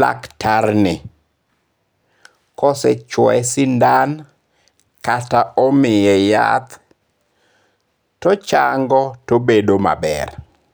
laktar ni kosechwoye sindan kata omiye yath to ochango tobedo maber.